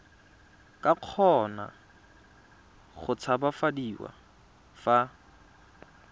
ka kgona go tshabafadiwa fa